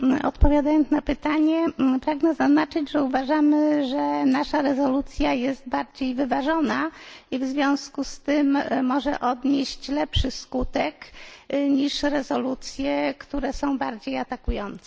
Odpowiadając na pytanie, pragnę zaznaczyć, że uważamy, że nasza rezolucja jest bardziej wyważona i w związku z tym może odnieść lepszy skutek niż rezolucje, które są bardziej atakujące.